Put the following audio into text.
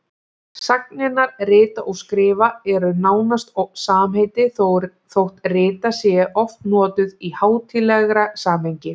Sagnirnar rita og skrifa eru nánast samheiti þótt rita sé oft notuð í hátíðlegra samhengi.